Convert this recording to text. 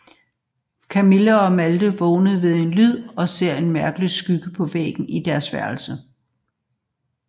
Kamille og Malte vågner ved en lyd og ser en mærkelig skygge på væggen i deres værelse